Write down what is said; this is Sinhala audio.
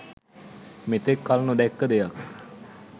මෙතෙක් කල්නොදැක්ක දෙයක්